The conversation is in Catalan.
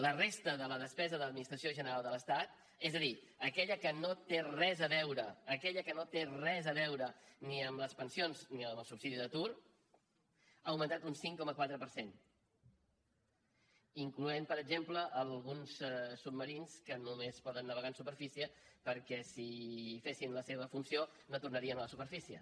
la resta de la despesa de l’administració general de l’estat és a dir aquella que no té res a veure aquella que no té res a veure ni amb les pensions ni amb el subsidi d’atur ha augmentat un cinc coma quatre per cent incloenthi per exemple alguns submarins que només poden navegar en superfície perquè si fessin la seva funció no tornarien a la superfície